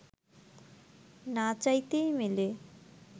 না চাইতেই মেলে